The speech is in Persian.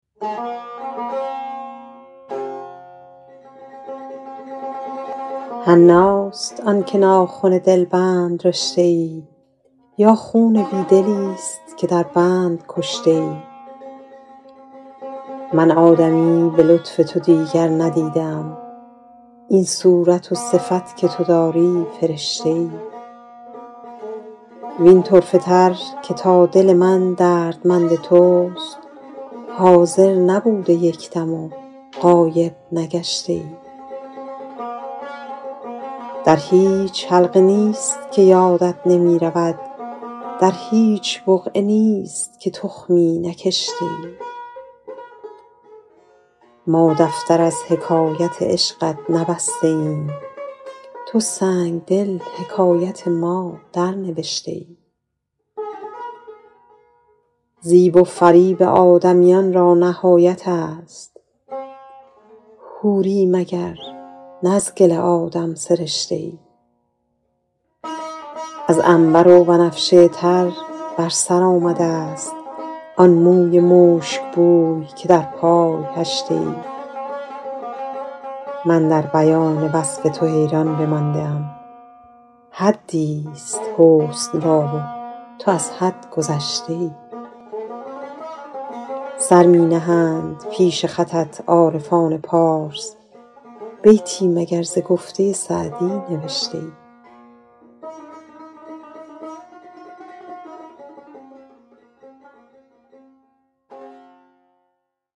حناست آن که ناخن دلبند رشته ای یا خون بی دلیست که در بند کشته ای من آدمی به لطف تو دیگر ندیده ام این صورت و صفت که تو داری فرشته ای وین طرفه تر که تا دل من دردمند توست حاضر نبوده یک دم و غایب نگشته ای در هیچ حلقه نیست که یادت نمی رود در هیچ بقعه نیست که تخمی نکشته ای ما دفتر از حکایت عشقت نبسته ایم تو سنگدل حکایت ما درنوشته ای زیب و فریب آدمیان را نهایت است حوری مگر نه از گل آدم سرشته ای از عنبر و بنفشه تر بر سر آمده ست آن موی مشکبوی که در پای هشته ای من در بیان وصف تو حیران بمانده ام حدیست حسن را و تو از حد گذشته ای سر می نهند پیش خطت عارفان پارس بیتی مگر ز گفته سعدی نبشته ای